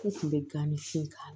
U kun bɛ gan ni fin k'a la